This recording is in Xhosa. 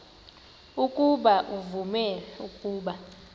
ukuba uvume ukuba